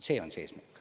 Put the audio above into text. See on eesmärk.